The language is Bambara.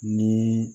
Ni